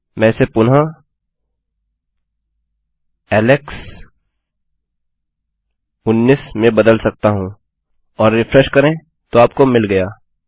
मैं इसे पुनः एलेक्स19 में बदल सकता हूँ और रिफ्रेशकरें तो आपको मिल गया